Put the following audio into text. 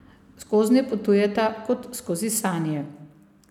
Skoznje potujeta kot skozi sanje.